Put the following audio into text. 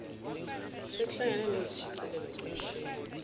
sekuhlangene nezishicilelo zomshini